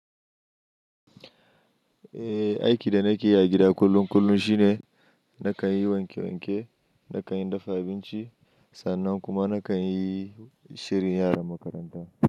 Eh, aiki da nake yi a gida kullum kullum shine nakan yi wanke wanke, nakan yi dafa abinci sannan kuma nakan yi shirin yaran makaranta.